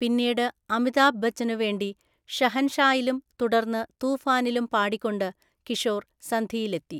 പിന്നീട് അമിതാഭ് ബച്ചനു വേണ്ടി ഷഹൻഷായിലും തുടർന്ന് തൂഫാനിലും പാടിക്കൊണ്ട് കിഷോർ സന്ധിയിലെത്തി.